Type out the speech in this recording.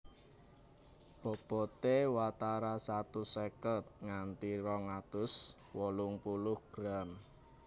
Bobote watara satus seket nganti rong atus wolung puluh gram